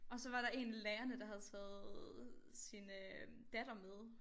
Og så var der en af lærerne der havde taget sin øh datter med